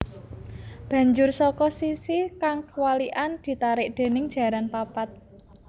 Banjur saka sisi kang kwalikan ditarik déning jaran papat